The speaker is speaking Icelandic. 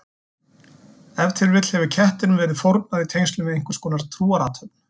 Ef til vill hefur kettinum verið fórnað í tengslum við einhverskonar trúarathöfn.